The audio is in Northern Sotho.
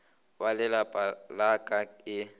ba lelapa la ka e